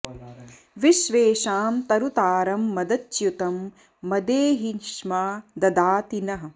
विश्वे॑षां तरु॒तारं॑ मद॒च्युतं॒ मदे॒ हि ष्मा॒ ददा॑ति नः